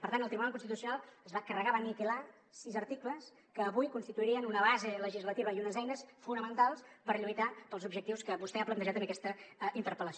per tant el tribunal constitucional es va carregar va aniquilar sis articles que avui constituirien una base legislativa i unes eines fonamentals per lluitar pels objectius que vostè ha plantejat en aquesta interpel·lació